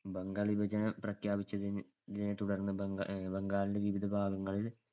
ബംഗാൾ വിഭജനം പ്രഖ്യാപിച്ചതിനെ നെ~ തുടർന്ന് ബംഗാ~ അഹ് ബംഗാളിന്‍ടെ വിവിധ ഭാഗങ്ങളിൽ